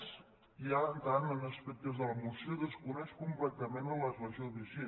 més ja entrant en aspectes de la moció desconeix completament la legislació vigent